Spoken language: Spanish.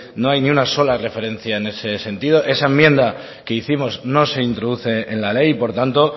no hay ni una sola referencia en este sentido esa enmienda que hicimos no se introduce en la ley y por tanto